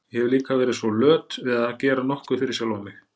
Ég hef líka verið svo löt við að gera nokkuð fyrir sjálfa mig.